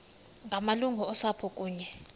ngamalungu osapho kunye